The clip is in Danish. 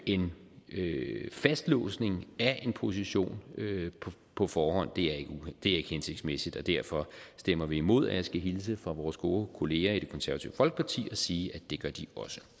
en fastlåsning af en position på forhånd er ikke hensigtsmæssigt og derfor stemmer vi imod og jeg skal hilse fra vores gode kollegaer i det konservative folkeparti og sige at det gør de